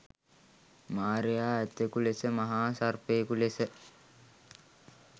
මාරයා ඇතකු ලෙස මහා සර්පයකු ලෙස